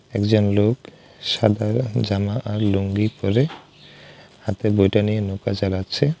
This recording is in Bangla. একজন লোক সাদা জামা আর লুঙ্গি পরে হাতে বৈঠা নিয়ে নৌকা চালাচ্ছে।